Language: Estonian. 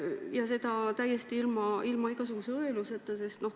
Küsin seda täiesti ilma igasuguse õeluseta.